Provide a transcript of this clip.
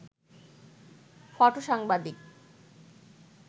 ফটো-সাংবাদিক